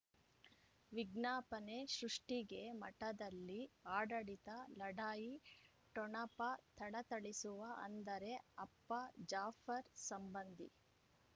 ವಿಜ್ಞಾಪನೆ ಸೃಷ್ಟಿಗೆ ಮಠದಲ್ಲಿ ಆಡಳಿತ ಲಢಾಯಿ ಠೊಣಪ ಥಳಥಳಿಸುವ ಅಂದರೆ ಅಪ್ಪ ಜಾಫರ್ ಸಂಬಂಧಿ